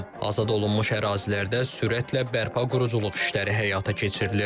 Azad olunmuş ərazilərdə sürətlə bərpa quruculuq işləri həyata keçirilir.